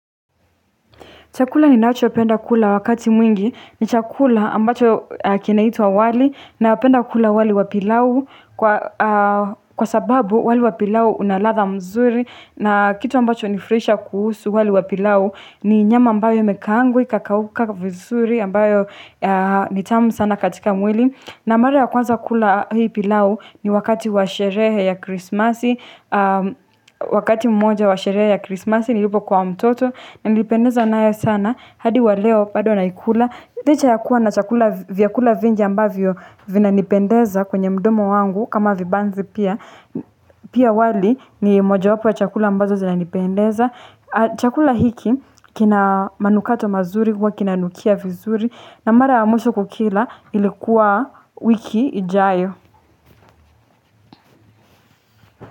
Chakula ni nacho penda kula wakati mwingi, ni chakula ambacho kinaitwa wali na penda kula wali wa pilau kwa sababu wali wapilau unaladha mzuri na kitu ambacho nifurahisha kuhusu wali wapilau ni nyama ambayo imekaangwa ikakauka vizuri ambayo nitamu sana katika mwili. Na mara ya kwanza kula hii pilau ni wakati washerehe ya krismasi, wakati mmoja washerehe ya krismasi, nilipo kuwa mtoto, nilipendeza nayo sana, hadi wa leo, bado na ikula. Licha ya kuwa na chakula, viakula vingi ambavyo vina nipendeza kwenye mdomo wangu, kama vibanzi pia, pia wali ni moja wapo ya chakula ambazo zina nipendeza. Chakula hiki kina manukato mazuri huwa kina nukia vizuri na mara ya mwisho kukila ilikuwa wiki ijayo.